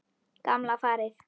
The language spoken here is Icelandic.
Gamla farið.